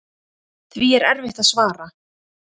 Því er erfitt að svara.